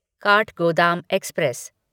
Kathgodam express